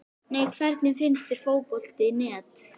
Nei Hvernig finnst þér Fótbolti.net?